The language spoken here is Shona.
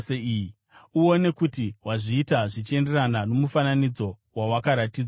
Uone kuti wazviita zvichienderana nomufananidzo wawakaratidzwa pagomo.